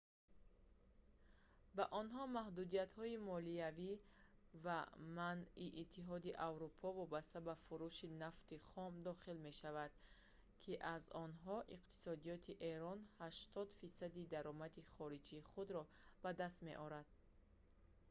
ба онҳо маҳдудиятҳои молиявӣ ва манъи иттиҳоди аврупо вобаста ба фурӯши нафти хом дохил мешавад ки аз онҳо иқтисодиёти эрон 80 фисади даромади хориҷии худро ба даст меорад